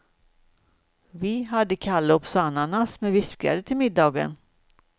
Vi hade kalops och ananas med vispgrädde till middagen.